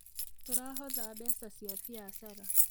Tũrahotha mbeca cia biacara